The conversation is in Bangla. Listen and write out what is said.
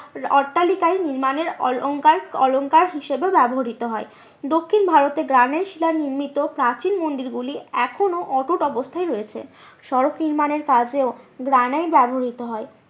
অট্টালিকা নির্মাণের অলঙ্কার হিসাবে ব্যবহৃত হয়। দক্ষিণ ভারতে গ্রানাইট শিলার নির্মিত প্রাচীন মন্দির গুলি এখনো অটুট অবস্থায় রয়েছে। সড়ক নির্মাণের কাজেও গ্রানাইট ব্যবহৃত হয়।